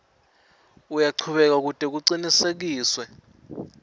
uyachubeka kute kucinisekiswe